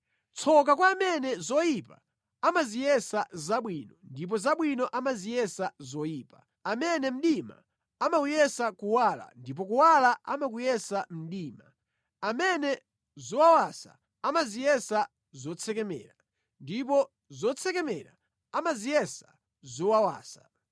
Tsoka kwa amene zoyipa amaziyesa zabwino ndipo zabwino amaziyesa zoyipa, amene mdima amawuyesa kuwala ndipo kuwala amakuyesa mdima, amene zowawasa amaziyesa zotsekemera ndipo zotsekemera amaziyesa zowawasa.